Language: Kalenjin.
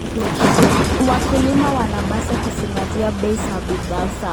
Wakulima wanapaswa kuzingatia bei za bidhaa zao.